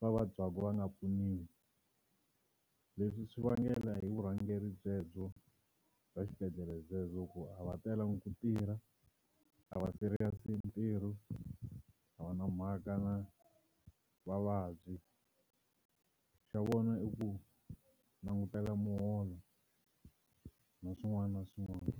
va vabyaka va nga pfuniwi leswi swi vangela hi vurhangeri byebyo bya xibedhlele byebyo ku a va telangi ku tirha a va serious hi ntirho a va na mhaka na vavabyi xa vona i ku langutela muholo na swin'wana na swin'wana.